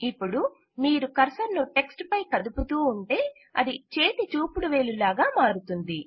ఇపుడు మీరు కర్సర్ ను టెక్ట్స్ పై కదుపుతూ ఉంటే అది చేతిచూపుడువేలు లాగా మారుతుంది